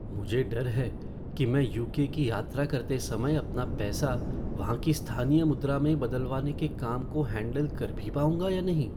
मुझे डर है कि मैं यू. के. की यात्रा करते समय अपना पैसा वहाँ की स्थानीय मुद्रा में बदलवाने के काम को हैंडल कर भी पाऊंगा या नहीं।